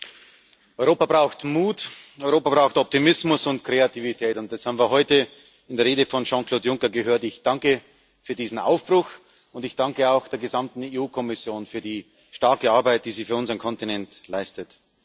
Herr Präsident! Europa braucht Mut und Europa braucht Optimismus und Kreativität. Das haben wir heute in der Rede von Jean Claude Juncker gehört. Ich danke für diesen Aufbruch und ich danke auch der gesamten EU Kommission für die starke Arbeit, die sie für unseren Kontinent leistet.